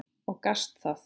Og gastu það?